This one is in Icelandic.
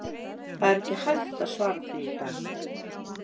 Það er ekki hægt að svara því í dag.